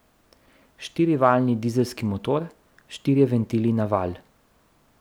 Štirivaljni dizelski motor, štirje ventili na valj.